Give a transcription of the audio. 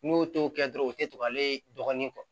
N'u y'o to kɛ dɔrɔn o tɛ to ale dɔgɔnin